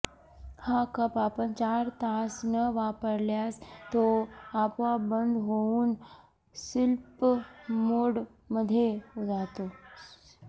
हा कप आपण चार तास न वापरल्यास तो आपोआप बंद होऊन स्लिप मोडमध्ये जातो